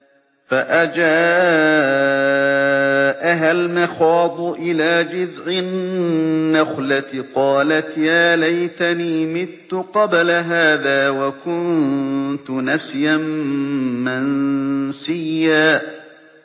فَأَجَاءَهَا الْمَخَاضُ إِلَىٰ جِذْعِ النَّخْلَةِ قَالَتْ يَا لَيْتَنِي مِتُّ قَبْلَ هَٰذَا وَكُنتُ نَسْيًا مَّنسِيًّا